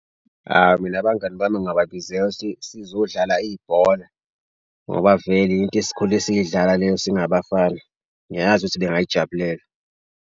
Awu mina abangani bami ngingababizela ukuthi sizodlala ibhola, ngoba vele into esikhule siyidlala leyo singabafana. Ngiyazi ukuthi bengayijabulela.